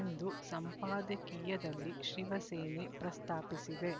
ಎಂದು ಸಂಪಾದಕೀಯದಲ್ಲಿ ಶಿವಸೇನೆ ಪ್ರಸ್ತಾಪಿಸಿದೆ